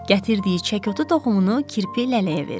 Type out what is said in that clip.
Gətirdiyi çəkotu toxumunu kirpi lələyə verir.